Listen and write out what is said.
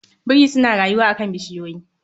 Biri suna rayuwa a kan bishiyoyi